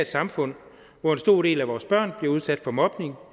samfund hvor en stor del af vores børn bliver udsat for mobning